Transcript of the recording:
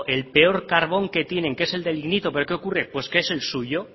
el peor carbón que tienen que es el del nibitor pero qué ocurre pues que es el suyo